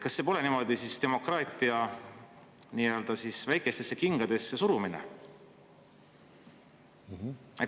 Kas see pole niimoodi demokraatia nii-öelda väikestesse kingadesse surumine?